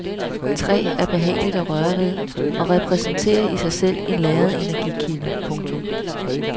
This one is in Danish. Træ er behageligt at røre ved og repræsenterer i sig selv en lagret energikilde. punktum